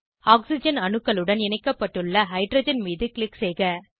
oxygen அணுக்களுடன் இணைக்கப்பட்டுள்ள hydrogen மீது க்ளிக் செய்க